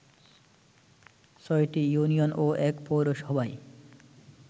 ৬টি ইউনিয়ন ও ১ পৌরসভায়